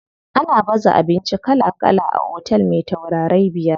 Ana baza abinci kala kala a otel me taurarai biyar.